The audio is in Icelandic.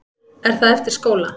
Er það eftir skóla?